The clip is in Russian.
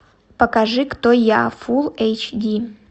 покажи кто я фулл эйч ди